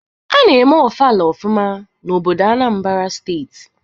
A na-eme ofala ofụma n'obodo Anambra steeti.